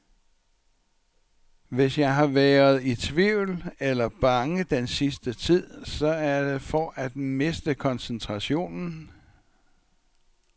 Hvis jeg har været i tvivl eller bange den sidste tid, så er det for at miste koncentrationen.